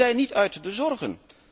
We zijn niet uit de zorgen.